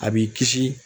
A b'i kisi